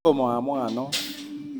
Tomoamwa non